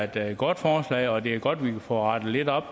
det er et godt forslag og det er godt at vi kan få rettet lidt op